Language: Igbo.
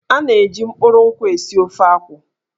A na-eji mkpụrụ nkwụ esi ofe akwụ.